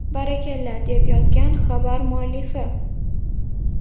Barakalla!”, deb yozgan xabar muallifi.